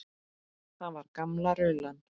Það var gamla rullan.